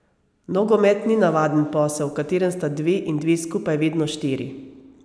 Nogomet ni navaden posel, v katerem sta dve in dve skupaj vedno štiri.